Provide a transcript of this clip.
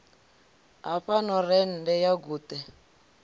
ha fhano rennde ya guṱe